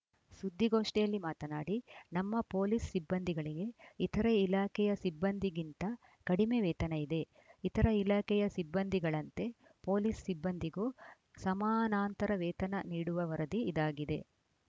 ಸುದ್ದಿಗೋಷ್ಠಿಯಲ್ಲಿ ಮಾತನಾಡಿ ನಮ್ಮ ಪೋಲೀಸ್‌ ಸಿಬ್ಬಂದಿಗಳಿಗೆ ಇತರೆ ಇಲಾಖೆಯ ಸಿಬ್ಬಂದಿಗಿಂತ ಕಡಿಮೆ ವೇತನ ಇದೆ ಇತರ ಇಲಾಖೆಯ ಸಿಬ್ಬಂದಿಗಳಂತೆ ಪೊಲೀಸ್‌ ಸಿಬ್ಬಂದಿಗೂ ಸಮಾನಾಂತರ ವೇತನ ನೀಡುವ ವರದಿ ಇದಾಗಿದೆ